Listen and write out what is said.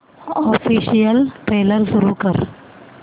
official trailer सुरू कर